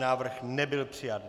Návrh nebyl přijat.